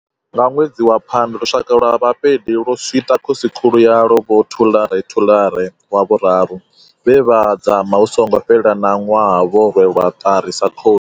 Nga ṅwedzi wa Phando, lushaka lwa Bapedi lwo swiṱa khosikhulu yalwo vho Thuḽare Thuḽare wa vhuraru, vhe vha dzama hu songo fhela na ṅwaha vho rwelwa ṱari sa khosi.